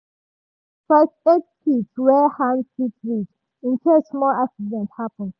she keep first-aid kit where hand fit reach in case small accident happen.